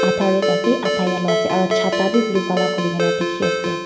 atha red ase atha yellow ase aro chata bi blue colour khulina dikhiase.